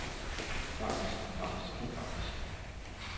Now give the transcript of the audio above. grafisk grafisk grafisk